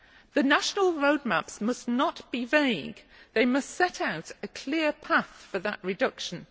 The national roadmaps must not be vague. They must set out a clear path for that reduction.